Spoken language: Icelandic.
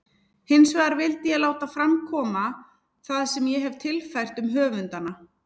Hinsvegar vildi ég láta fram koma það sem ég hefi tilfært um höfundana.